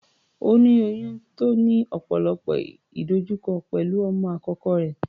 Ó ní oyún tó ní ọ̀pọ̀lọpọ̀ ìdojúkọ pẹ̀lú ọmọ àkọ́kọ́ rẹ̀.